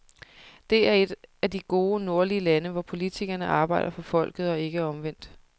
Det er et af de gode, nordlige lande, hvor politikerne arbejder for folket og ikke omvendt.